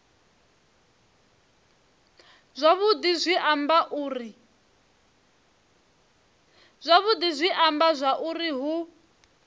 yavhudi zwi amba zwauri hu